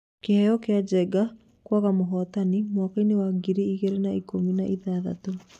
Kĩheo kĩa Njenga kwaga mũhotani mwakpainĩ wa ngiri igĩrĩ na ikũmi na ithathatũ